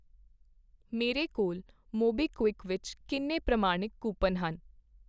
ਮੇਰੇ ਕੋਲ ਮੋਬੀਕਵਿਕ ਵਿੱਚ ਕਿੰਨੇ ਪ੍ਰਮਾਣਿਕ ਕੂਪਨ ਹਨ ?